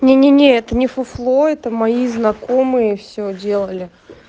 не-не-не это не фуфло это мои знакомые всё делали